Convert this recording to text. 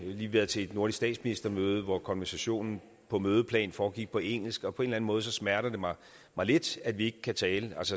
lige været til et nordisk statsministermøde hvor konversationen på mødeplan foregik på engelsk og på en eller anden måde smerter det mig lidt at vi altså ikke kan tale